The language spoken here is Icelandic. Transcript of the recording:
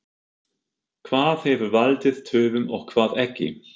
Hvað hefur valdið töfum og hvað ekki?